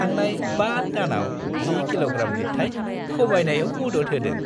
थांनाय 5 दानाव 10 किल'ग्राम लिरथाइ खमायनायाव मदद होदों।